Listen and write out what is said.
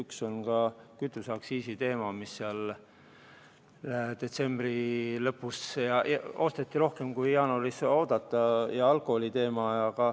Üks oli kütuseaktsiisi teema – detsembri lõpus osteti rohkem, kui jaanuaris oodati – ja oli ka alkoholi teema.